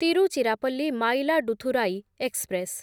Tiruchirappalli Mayiladuthurai express